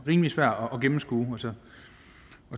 rimelig svært at gennemskue